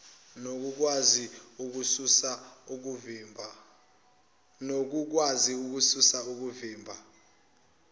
nokukwazi ukususa okuvimba